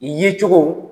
Yecogo